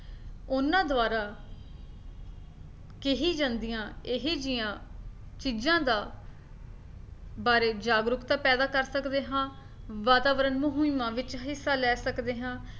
ਉਹਨਾਂ ਦੁਆਰਾ ਕਹੀ ਜਾਂਦੀਆਂ ਇਹ ਜਿਹੀਆਂ ਚੀਜਾਂ ਦਾ ਬਾਰੇ ਜਾਗਰੂਕਤਾ ਪੈਦਾ ਕਰ ਸਕਦੇ ਹਾਂ ਵਾਤਾਵਰਨ ਮੁਹਿੰਮਾ ਵਿੱਚ ਹਿੱਸਾ ਲੈ ਸਕਦੇ ਹਾਂ